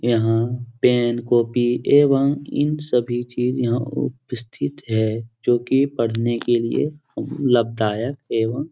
यहाँ pen copy एवं इन सभी चीज यहाँ उपस्थित है जो की पढ़ने के लिए लाभदायक एवं --